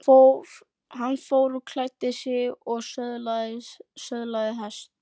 Hann fór og klæddi sig og söðlaði hest.